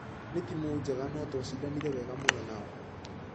Nĩ timũ njega nũ twashidanire wega mũno nao.